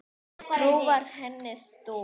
Trú var henni stoð.